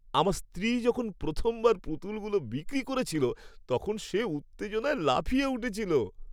আমার স্ত্রী যখন প্রথমবার পুতুলগুলো বিক্রি করেছিল তখন সে উত্তেজনায় লাফিয়ে উঠছিল।